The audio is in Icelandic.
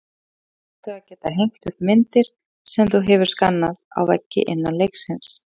Einnig áttu að geta hengt upp myndir, sem þú hefur skannað, á veggi innan leiksins.